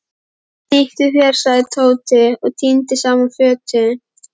Snýttu þér sagði Tóti og tíndi saman fötin.